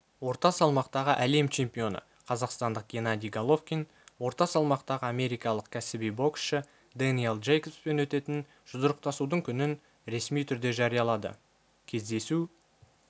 орта салмақтағы әлем чемпионы қазақстандық геннадий головкин орта салмақтағы америкалық кәсіби боксшы дэниел джейкобспен өтетін жұдырықтасудың күнін ресми түрде жариялады кездесу